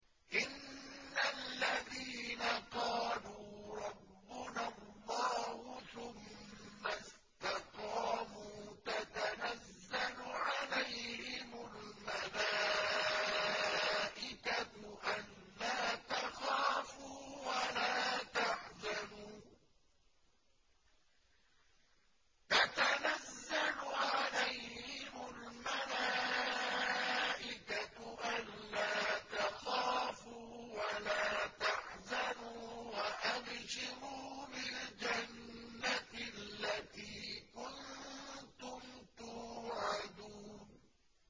إِنَّ الَّذِينَ قَالُوا رَبُّنَا اللَّهُ ثُمَّ اسْتَقَامُوا تَتَنَزَّلُ عَلَيْهِمُ الْمَلَائِكَةُ أَلَّا تَخَافُوا وَلَا تَحْزَنُوا وَأَبْشِرُوا بِالْجَنَّةِ الَّتِي كُنتُمْ تُوعَدُونَ